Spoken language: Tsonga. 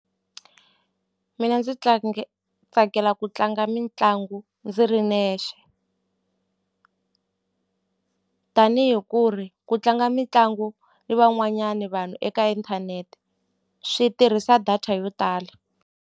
Mina ndzi tsakela ku tlanga mitlangu ndzi ri nexe tanihi ku ri ku tlanga mitlangu ni van'wanyani vanhu eka inthanete swi tirhisa data yo tala.